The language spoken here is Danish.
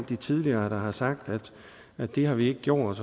der tidligere har sagt at det har vi ikke gjort